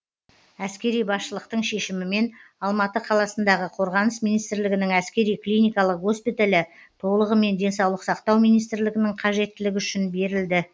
әскери басшылықтың шешімімен алматы қаласындағы қорғаныс министрлігінің әскери клиникалық госпиталі толығымен денсаулық сақтау министрлігінің қажеттілігі үшін берілді